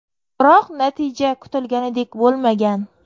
Biroq natija kutilganidek bo‘lmagan.